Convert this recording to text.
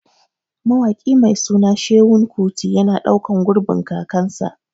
Mawaƙi mai suna Seun Kuti yana ɗaukan gurbin kakansa